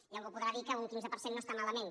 i algú podrà dir que un quinze per cent no està ma lament